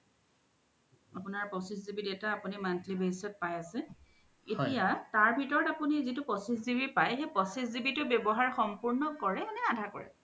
আপুনাৰ পঁচিছ GB data আপুনি monthly basis ত পাই আছে এতিয়া ইয়াৰ ভিতৰত আপুনি জিতু পঁচিছ GB পাই সেই পঁচিছ GB তু ৱ্যবহাৰ সম্পুৰ্ন কৰে নে আধা কৰে?